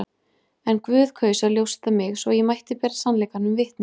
En Guð kaus að ljósta mig, svo ég mætti bera sannleikanum vitni.